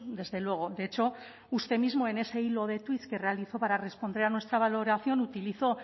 desde luego de hecho usted mismo en ese hilo de tuits que realizó para responder a nuestra valoración utilizó